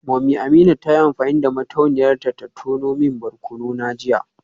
Mummy Amina ta yi amfani da mutuniyar ta ta tono min barkono na jiya